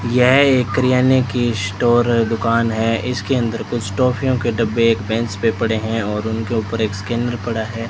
यह एक किराने की स्टोर दुकान है इसके अंदर कुछ टॉफियों के डब्बे एक बेंच पे पड़े हैं और उनके ऊपर एक स्कैनर पड़ा है।